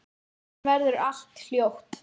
Síðan verður allt hljótt.